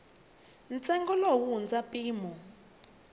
ntsengo lowu wu hundza mpimo